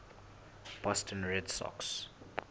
boston red sox